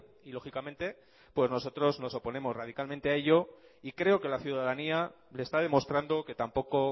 y lógicamente pues nosotros nos oponemos radicalmente a ello y creo que la ciudadanía le está demostrando que tampoco